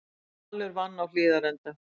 Valur vann á Hlíðarenda